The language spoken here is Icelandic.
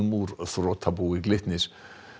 úr þrotabúi Glitnis